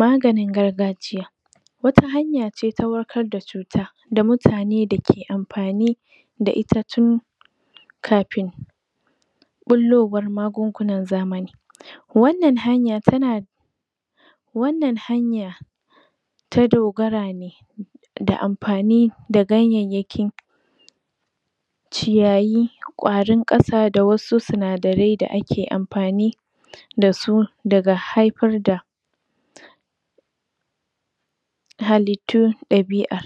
Maganin gargajiya, wata hanaya ce ta warkar da cuta da mutane dake amfani da itatun kafin ɓullowar magungunan zamani. Wannan hanya tana wannan hanya ta dogara ne da amfani da ganyayyaki ciyayi, ƙwarin ƙasa da wasu sinadarai da ake amfani da su daga haifar da halittun ɗabi'a.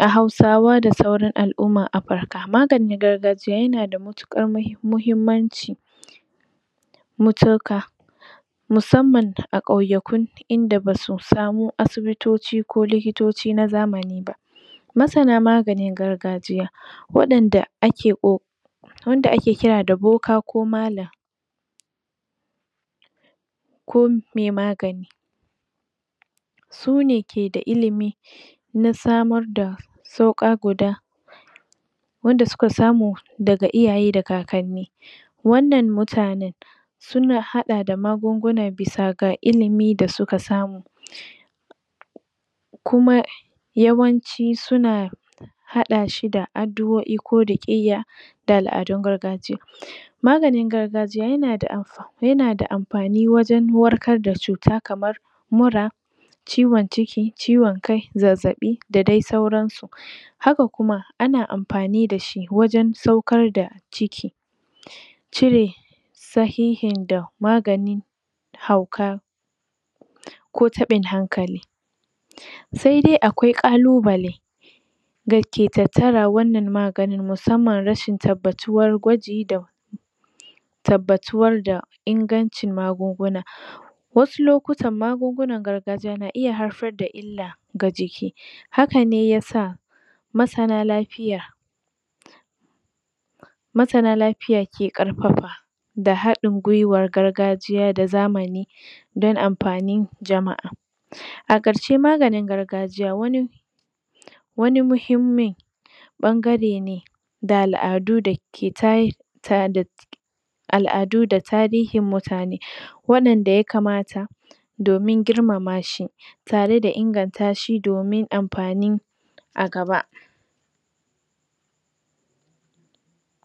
A Hausawa da sauran al'ummar Afurka, maganin gargajiya yana da mutuƙar muhimmanci mutuƙa musamman a ƙauyuku inda basu samo asibutoci ko likitoci na zamani ba. Masana maganin gargajiya waɗanda ake ƙo wanda ake kira da boka ko malam, ko me magani sune ke da ilimi na samar da sauƙa guda wanda suka samu daga iyaye da kakanni. Wannan mutanen, suna haɗa da magunguna bisa ga ilimi da suka samu. Kuma yawanci suna haɗa shi da addu'o'i ko da ƙeya da al'adun gargajiya. Maganin gargajiya yana da amf yana da amfani wajen warkar da cuta kamar mura, ciwon ciki, ciwon kai, zazzaɓi da dai sauransu. Haka kuma ana amfani da shi wajen saukar da ciki, cire sahihin da magani hauka ko taɓin hankali. Sai dai akwai ƙalubale, dake tattara wannan magani musamman rashin tabbatuwar gwaji da tabbatuwar da ingancin magunguna. Wasu lokutan magungunan gargajiya na iya haifar da illla ga jiki, haka ne ya sa masana lafiya masana lafiya ke ƙarfafa da haɗin gwiwar gargajiya da zamani, don amfanin jama'a. A ƙarshe maganin gargajiya wani muhimmin ɓangare ne da al'adu dake ta al'adu da tarihin mutane waɗanda ya kamata domin girmama shi, tare da inganta shi domin amfanin a gaba.